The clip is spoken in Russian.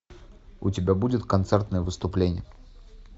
у тебя будет концертное выступление